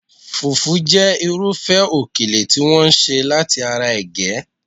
Fufu jẹ́ irúfẹ́ okele tí wọ́n ṣe láti ara ege